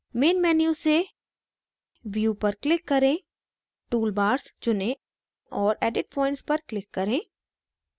main menu से view पर click करें toolbars चुनें और edit points पर click करें